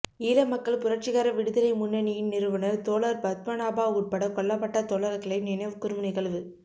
ஈழ மக்கள் புரட்சிகர விடுதலை முன்னனியின் நிறுவனர் தோழர் பத்மநாபா உட்பட கொல்லபட்ட தோழர்களை நினைவு கூறும் நிகழ்வு